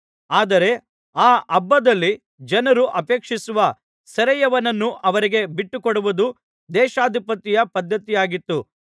ಆದರೆ ಆ ಹಬ್ಬದಲ್ಲಿ ಜನರು ಅಪೇಕ್ಷಿಸುವ ಸೆರೆಯವನನ್ನು ಅವರಿಗೆ ಬಿಟ್ಟುಕೊಡುವುದು ದೇಶಾಧಿಪತಿಯ ಪದ್ಧತಿಯಾಗಿತ್ತು